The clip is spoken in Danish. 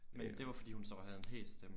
Men det var fordi hun så havde en hæs stemme